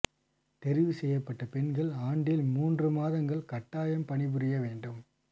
தெரிவு செய்யப்பட்ட பெண்கள் ஆண்டில் மூன்று மாதங்கள் கட்டாயம் பணிபுரிய வேண்டும்